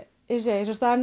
segi